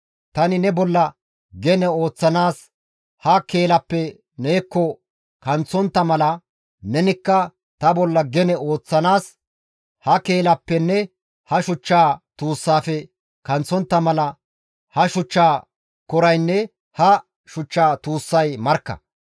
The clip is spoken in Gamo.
Tani ne bolla gene ooththanaas ha keelappe neekko kanththontta mala nenikka ta bolla gene ooththanaas ha keelappenne ha shuchchaa tuussaafe kanththontta mala ha shuchcha koraynne ha shuchcha tuussay markka.